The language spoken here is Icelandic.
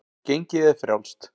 Gengið er frjálst.